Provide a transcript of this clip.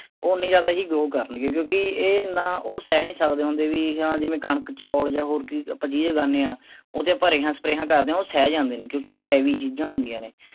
ਓਹਨੇ ਹੀ ਜ਼ਿਆਦਾ ਹੀ grow ਕਰਨ ਗੇ ਕਿਉਂਕਿ ਇਹ ਐਨਾਂ ਉਹ ਸਹਿ ਨੀ ਸਕਦੇ ਹੁੰਦੇ ਵੀ ਹਾਂ ਜਿਵੇਂ ਕਣਕ, ਚੌਲ ਜਾਂ ਹੋਰ ਕੋਈ ਆਪਾਂ ਚੀਜ਼ ਉਗਾਨੇਂ ਹਾਂ, ਓਹ ਤੇ ਆਪਾਂ ਰਿਹਾਂ ਸਪਰੇਆਂ ਕਰਦੇ ਹਾਂ ਉਹ ਸਹਿ ਜਾਂਦੇ ਨੇ ਕਿਉਂਕਿ ਉਹ ਚੀਜ਼ਾਂ ਹੁੰਦੀਆਂ ਨੇ।